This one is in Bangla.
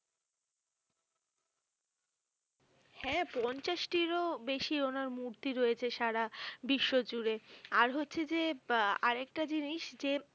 হ্যাঁ পঞ্চাশটির ও বেশী ওনার মূর্তি রয়েছে সারা বিশ্ব জুড়ে আর হচ্ছে যে আহ আরকেটা জিনিস যে